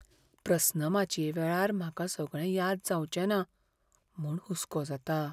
प्रस्नमाचये वेळार म्हाका सगळें याद जावचें ना म्हूण हुस्को जाता.